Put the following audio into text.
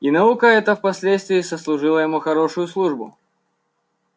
и наука эта впоследствии сослужила ему хорошую службу